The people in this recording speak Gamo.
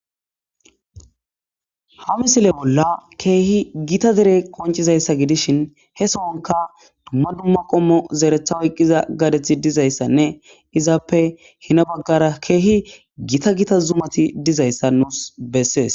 ha misile bolla keehi gita dere koncizayssa gidishin he sonka dumma dumma qommo zeretha oyqqiza gadethi dizayssanne izaappe hina baggara keehi gita gita zumati dizayssa nuus bessees